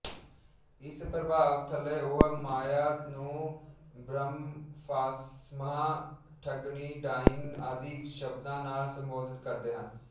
ਇਸ ਪ੍ਰਭਾਵ ਥਲੇ ਉਹ ਮਾਇਆ ਨੂੰ ਬ੍ਰਹਮਫਾਸਮਹਾਂ ਠਗਣੀਡਾਇਣ ਆਦਿ ਸ਼ਬਦਾਂ ਨਾਲ ਸੰਬੋਧਨ ਕਰਦੇ ਹਨ